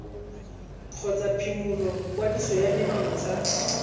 kgotsa phimola kwadiso ya menontsha